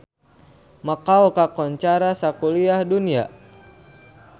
Makau kakoncara sakuliah dunya